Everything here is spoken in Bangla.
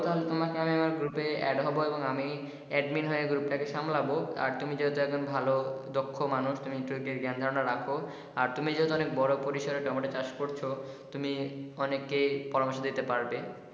তোমাকে আমার group এ add ও করে দেবো এবং আমি admin হয়ে group টা কে সামলাবো আর তুমি যে একজন ভালো দক্ষ মানুষ তুমি যেহেতু অনেক গ্যান ধারনা রাখ আর তুমি যেহেতু টমেটো চাষ করছো তুমি অনেককে পরামর্শ দিতে পারবে।